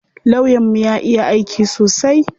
Lawyan mu ya iya aiki sosai.